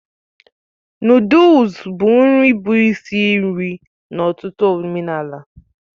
Nụ́dúls bụ nri bụ isi nri n'ọtụtụ omenala